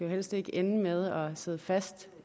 helst ikke ende med at sidde fast